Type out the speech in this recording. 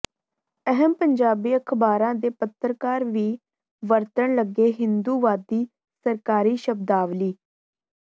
ਅਹਿਮ ਪੰਜਾਬੀ ਅਖਬਾਰਾਂ ਦੇ ਪੱਤਰਕਾਰ ਵੀ ਵਰਤਣ ਲੱਗੇ ਹਿੰਦੂਵਾਦੀ ਸਰਕਾਰੀ ਸ਼ਬਦਾਵਲੀ